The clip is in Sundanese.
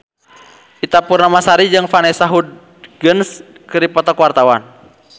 Ita Purnamasari jeung Vanessa Hudgens keur dipoto ku wartawan